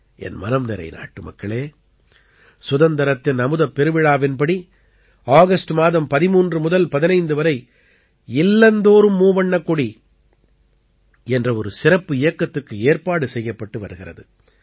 என் மனம்நிறை நாட்டுமக்களே சுதந்திரத்தின் அமுதப்பெருவிழாவின்படி ஆகஸ்ட் மாதம் 13 முதல் 15 வரை இல்லந்தோறும் மூவண்ணக்கொடி என்ற ஒரு சிறப்பு இயக்கத்துக்கு ஏற்பாடு செய்யப்பட்டு வருகிறது